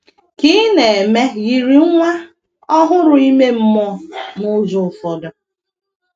Ka ị̀ na eme yiri nwa ọhụrụ ime mmụọ, n’ụzọ ụfọdụ?